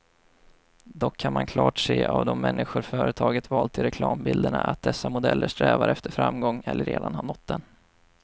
Dock kan man klart se av de människor företaget valt till reklambilderna, att dessa modeller strävar efter framgång eller redan har nått den.